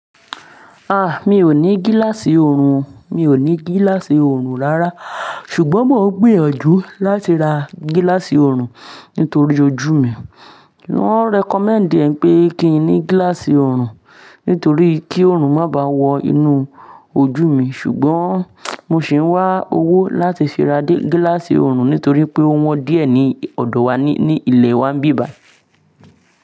Ah, mi ò ní gíláàsì òòrùn. Mi ò ní gíláàsì oorun rárá. Ṣùgbọ́n mo ń gbìyànjú láti ra gíláàsì òòrùn nítorí ojú mi. Wọ́n recommend ẹ̀ wípé kí n ní gílààsì òòrùn nítorí kí òòrùn má bàá wọ inú ojú mi. Ṣùgbọ́n mo sì ń wá owó láti fi ra gíláàsì òòrùn nítorí pé ó wọ́n díẹ̀ ní ọ̀dọ̀ wa ní ilẹ̀ wa ńbí bàí.